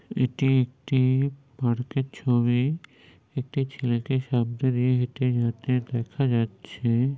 এটি একটি-ই পার্কের ছবি। একটি ছেলেকে সামনে দিয়ে হেটে যেতে দেখা যাচ্ছে।